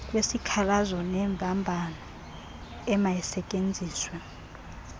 kwezikhalazo neembambano emayisetyenziswe